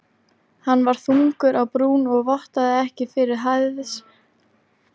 Hann var þungur á brún og vottaði ekki fyrir hæðnisglotti sigurvegarans.